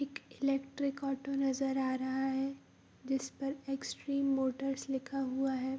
एक electric auto नजर आ रहा है जिस पर एक्सट्रीम मोटर्स लिखा हुआ है।